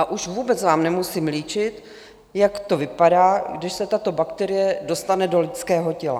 A už vůbec vám nemusím líčit, jak to vypadá, když se tato bakterie dostane do lidského těla.